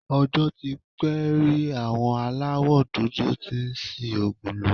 Ọjọ́ tí pé rí àwọn aláwọ̀ dúdú tí ń ṣi òògùn lò